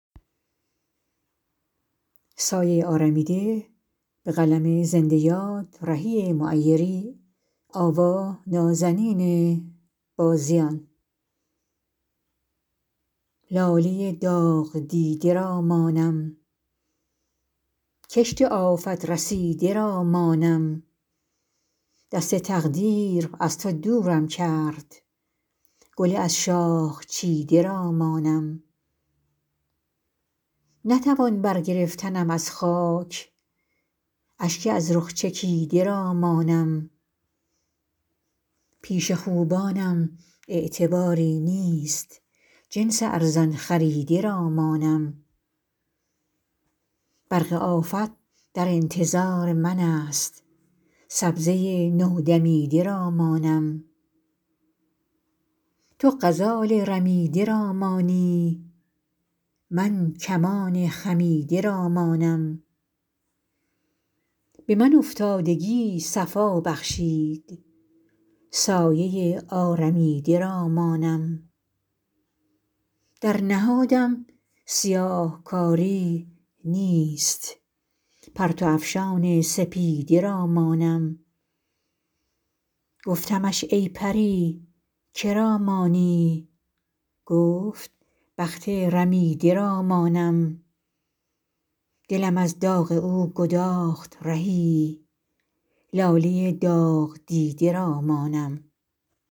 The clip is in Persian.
لاله داغدیده را مانم کشت آفت رسیده را مانم دست تقدیر از تو دورم کرد گل از شاخ چیده را مانم نتوان بر گرفتنم از خاک اشک از رخ چکیده را مانم پیش خوبانم اعتباری نیست جنس ارزان خریده را مانم برق آفت در انتظار من است سبزه نو دمیده را مانم تو غزال رمیده را مانی من کمان خمیده را مانم به من افتادگی صفا بخشید سایه آرمیده را مانم در نهادم سیاهکاری نیست پرتو افشان سپیده را مانم گفتمش ای پری که را مانی گفت بخت رمیده را مانم دلم از داغ او گداخت رهی لاله داغدیده را مانم